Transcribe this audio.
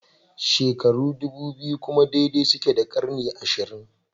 Shekaru ɗubu biyu kuma daidai suke da ƙarni ashirin